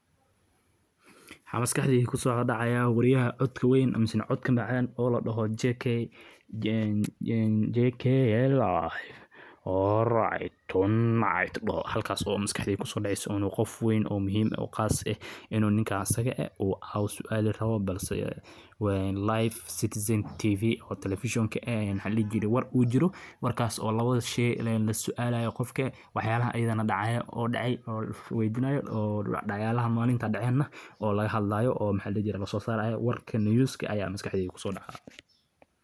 waa kanaal telefishin oo caan ka ah Kenya iyo guud ahaan Geeska Afrika, kaas oo bixiya warar cusub, barnaamijyo xiiso leh, iyo dood cilmiyeedyo ku saabsan arrimaha bulshada, siyaasadda, dhaqanka, iyo horumarka dalka. Kanaalkani wuxuu door muhiim ah ka ciyaaraa wacyigelinta shacabka, isagoo faafiya warar sax ah oo waqtigooda ku habboon, taasoo ka caawisa muwaadiniinta.